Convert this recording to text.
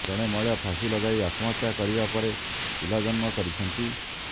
ଜଣେ ମହିଳା ଫାଶୀ ଲଗାଇ ଆତ୍ମହତ୍ୟା କରିବା ପରେ ପିଲା ଜନ୍ମ କରିଛନ୍ତି